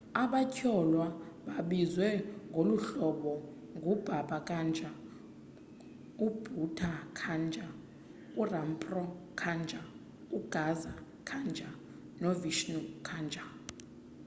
abatyholwa babizwa ngoluhlobo ngu-baba kanjar u-bhutha kanjar u-rampro kanjar u-gaza kanjar no-vishnu kanjar